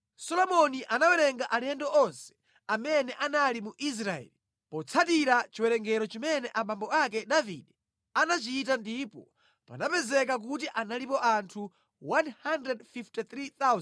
Solomoni anawerenga alendo onse amene anali mu Israeli, potsatira chiwerengero chimene abambo ake Davide anachita ndipo panapezeka kuti analipo anthu 153,600.